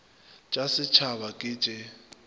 t sa setshaba ke t